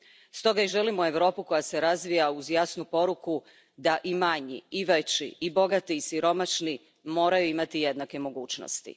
Stoga i želimo Europu koja se razvija uz jasnu poruku da i manji i veći, i bogati i siromašni moraju imati jednake mogućnosti.